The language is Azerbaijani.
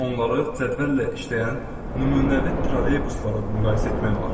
Onları cədvəllə işləyən nümunəvi trolleybuslara müqayisə etmək olar.